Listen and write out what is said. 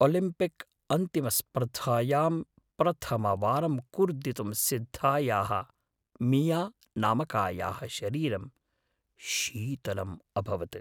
Olympic अन्तिमस्पर्धायां प्रथमवारं कूर्दितुं सिद्धायाः मिया नामकायाः शरीरं शीतलम् अभवत्।